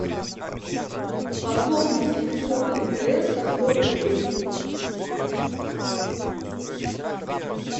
пополнить телефон мтс на сто рублей